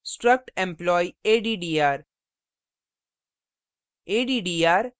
उदाहरण struct employee addr;